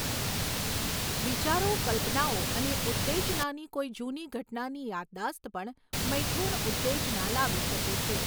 વિચારો, કલ્પનાઓ અને ઉત્તેજનાની કોઈ જૂની ઘટનાની યાદદાસ્ત પણ મૈથૂન ઉત્તેજના લાવી શકે છે.